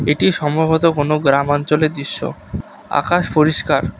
এটি সম্ভবত কোনও গ্রামাঞ্চলের দৃশ্য আকাশ পরিষ্কার।